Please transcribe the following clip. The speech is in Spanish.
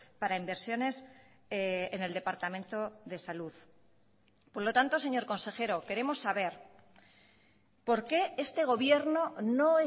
para inversiones en el departamento de salud por lo tanto señor consejero queremos saber por qué este gobierno no